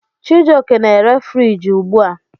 Chijioke na-ere friji ugbu a.